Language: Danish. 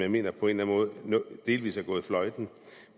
jeg mener på en eller måde delvis er gået fløjten